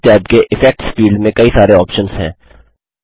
इस टैब के effects field में कई सारे ऑप्शन्स हैं